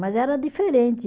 Mas era diferente.